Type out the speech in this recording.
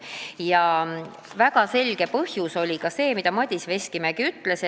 Üks väga selge põhjus, miks komisjon tegi selle otsuse, oli ka see, mida Madis Veskimägi ütles.